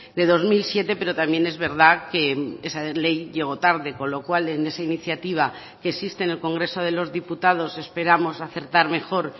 de dos mil siete pero también es verdad que esa ley llegó tarde con lo cual en esa iniciativa que existe en el congreso de los diputados esperamos acertar mejor